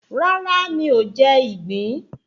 Rárá mi ọ̀ jẹ ìgbín